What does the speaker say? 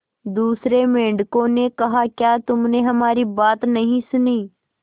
दूसरे मेंढकों ने कहा क्या तुमने हमारी बात नहीं सुनी